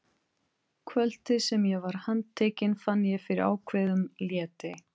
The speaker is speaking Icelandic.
Kvöldið sem ég var handtekinn fann ég fyrir ákveðnum létti.